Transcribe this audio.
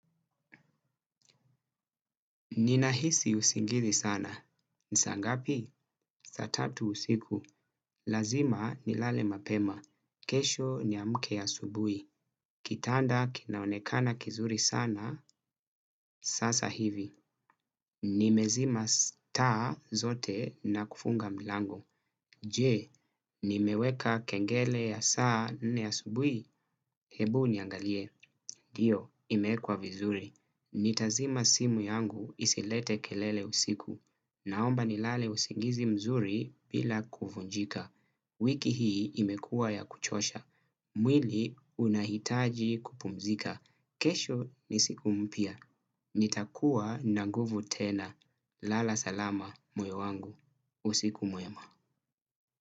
Ninahisi usingizi sana. Ni saa ngapi? Saa tatu usiku. Lazima nilale mapema. Kesho niamke ya asubuhi. Kitanda kinaonekana kizuri sana, sasa hivi. Nimezima taa zote na kufunga milango. Je, nimeweka kengele ya saa nne asubuhi? Hebu niangalie. Ndiyo, imewekwa vizuri. Nitazima simu yangu isilete kelele usiku. Naomba nilale usingizi mzuri bila kuvunjika. Wiki hii imekuwa ya kuchosha. Mwili unahitaji kupumzika. Kesho ni siku mpya. Nitakuwa na nguvu tena. Lala salama moyo wangu. Usiku mwema.